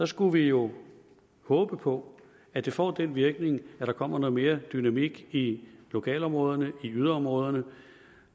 skulle vi jo håbe på at det får den virkning at der kommer noget mere dynamik i lokalområderne i yderområderne